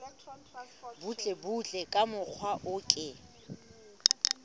butlebutle ka mokgwa o ke